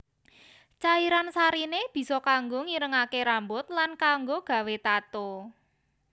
Cairan sariné bisa kanggo ngirengaké rambut lan kanggo gawé tato